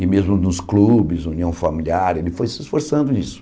E mesmo nos clubes, união familiar, ele foi se esforçando nisso.